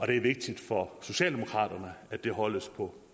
det er vigtigt for socialdemokraterne at det holdes på